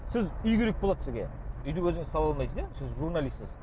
сіз үй керек болады сізге үйді өзіңіз сала алмайсыз иә сіз журналистсіз